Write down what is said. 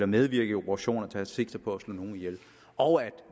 medvirke i operationer der sigter på at slå nogen ihjel og at